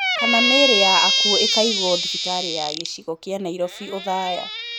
Kana mĩĩrĩ ya akuo ĩkaigwo thibitarĩ ya gĩcigo kĩa Nairobi, othaya